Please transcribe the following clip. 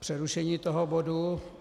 přerušení toho bodu.